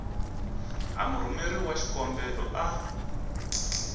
a murhumeri wa xikombelo a